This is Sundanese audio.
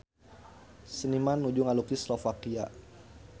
Seniman nuju ngalukis Slovakia